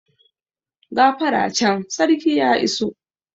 Gafara can, sarki ya iso!